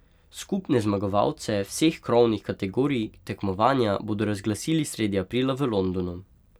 Skupne zmagovalce vseh krovnih kategorij tekmovanja bodo razglasili sredi aprila v Londonu.